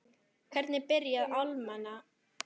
Hvernig byrjaði alnæmi?